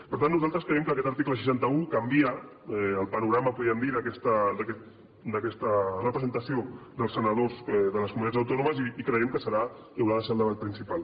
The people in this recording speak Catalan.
per tant nosaltres creiem que aquest article seixanta un canvia el panorama podríem dir d’aquesta representació dels senadors de les comunitats autònomes i creiem que serà que haurà de ser el debat principal